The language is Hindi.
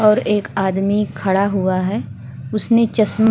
और एक आदमी खड़ा हुआ है उसने चश्मा --